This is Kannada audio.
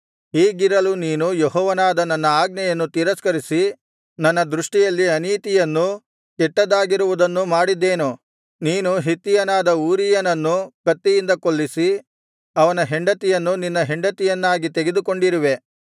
ಹೀಗಿರಲು ನೀನು ಯೆಹೋವನಾದ ನನ್ನ ಆಜ್ಞೆಯನ್ನು ತಿರಸ್ಕರಿಸಿ ನನ್ನ ದೃಷ್ಟಿಯಲ್ಲಿ ಅನೀತಿಯನ್ನು ಕೆಟ್ಟದ್ದಾಗಿರುವುದನ್ನು ಮಾಡಿದ್ದೇನು ನೀನು ಹಿತ್ತಿಯನಾದ ಊರೀಯನನ್ನು ಕತ್ತಿಯಿಂದ ಕೊಲ್ಲಿಸಿ ಅವನ ಹೆಂಡತಿಯನ್ನು ನಿನ್ನ ಹೆಂಡತಿಯನ್ನಾಗಿ ತೆಗೆದುಕೊಂಡಿರುವೆ